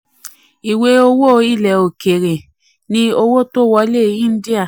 25. ìwé owó ilẹ̀ òkèèrè ni òkèèrè ni um owó tó wọlé india.